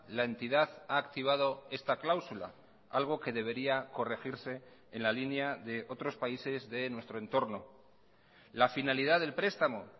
la entidad ha activado esta cláusula algo que debería corregirse en la línea de otros países de nuestro entorno la finalidad del prestamo